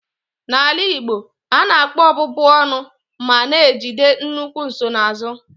N'omenala Igbo, a na-akpọ ọbụbụ ọnụ ma na-ejide nnukwu nsonaazụ.